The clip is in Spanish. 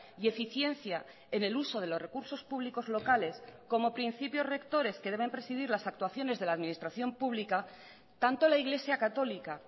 y eficiencia en el uso de los recursos públicos locales como principios rectores que deben presidir las actuaciones de la administración pública tanto la iglesia católica